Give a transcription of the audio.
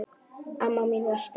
Amma mín var sterk.